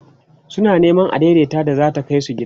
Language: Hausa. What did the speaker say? suna Neman adaidaita da zai Kai su gida